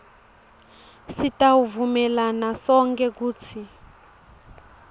sitawuvumelana sonkhe kutsi